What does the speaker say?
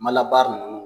Mala baara ninnu